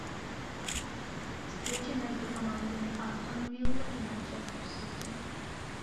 встреча между командами астон вилла и манчестер сити